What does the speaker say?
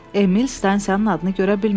Emil stansiyanın adını görə bilmədi.